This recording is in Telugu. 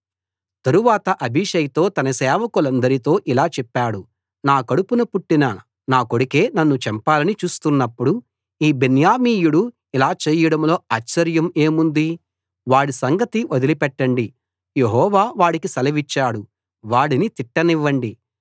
తరువాత అబీషైతో తన సేవకులందరితో ఇలా చెప్పాడు నా కడుపున పుట్టిన నా కొడుకే నన్ను చంపాలని చూస్తున్నప్పుడు ఈ బెన్యామీయుడు ఇలా చేయడంలో ఆశ్చర్యం ఏముంది వాడి సంగతి వదిలిపెట్టండి యెహోవా వాడికి సెలవిచ్చాడు వాడిని తిట్టనివ్వండి